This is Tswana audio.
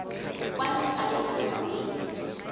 kwa ntle ga lenyalo mme